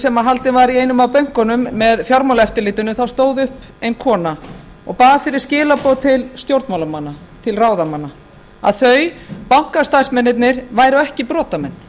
haldinn var í einum af bönkunum með fjármálaeftirlitinu stóð upp ein kona og bað fyrir skilaboð til stjórnmálamanna til ráðamanna að þau bankastarfsmennirnir væru ekki brotamenn